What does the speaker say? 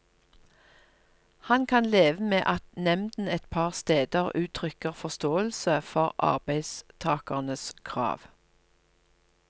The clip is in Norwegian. Han kan leve med at nemnden et par steder uttrykker forståelse for arbeidstakernes krav.